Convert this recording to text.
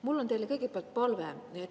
Mul on teile kõigepealt palve.